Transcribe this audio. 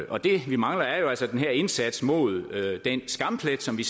og det vi mangler er jo altså den her indsats mod den skamplet som vi